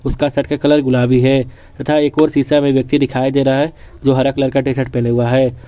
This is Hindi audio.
उसका शर्ट का कलर गुलाबी है तथा एक और व्यक्ति सीसा मे दिखाई दे रहा है जो हरा कलर का टी शर्ट पहने हुआ है।